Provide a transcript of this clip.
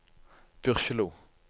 Byrkjelo